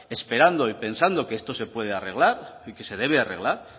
esperando y pensando que esto se puede arreglar y que se debe arreglar